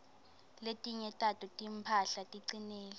letinye tato timphahla ticinile